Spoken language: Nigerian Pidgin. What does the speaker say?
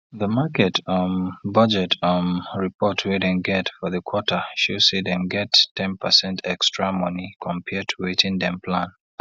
di market um budget um report wey dem get for di quarter show say dem get ten percent extra money compare to wetin dem plan